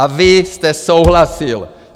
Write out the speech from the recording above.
A vy jste souhlasil!